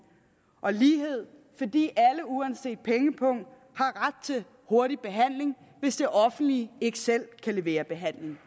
og lighed fordi alle uanset pengepung har ret til hurtig behandling hvis det offentlige ikke selv kan levere behandling